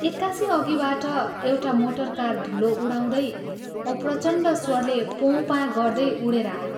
एक्कासि अघिबाट एउटा मोटरकार धूलो उडाउँदै औ प्रचण्ड स्वरले पों पाँ गर्दै उडेर आयो।